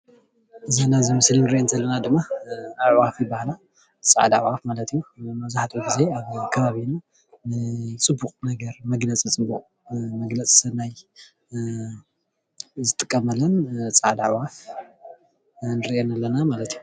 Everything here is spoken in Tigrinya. እዘን ኣብዚ ምስሊ እንሪአን ዘለና ድማ ኣዕዋፍ ይባሃላ። ፃዕዳ ኣዕዋፍ ማለት እዩ። መብዛሕትኡ ግዜ ኣብ ከባቢ ፅቡቅ ነገር መግለፂ ፅቡቅ መግለፂ ሰናይ ዝጥቀመለን ፃዕዳ ኣዕዋፍ እንሪአን ኣለና ማለት እዩ፡፡